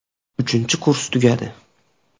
Uchinchi kurs tugadi.